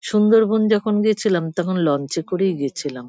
সুন্দরবন যখন গেছিলাম তখন লঞ্চ -এ করেই গেছিলাম।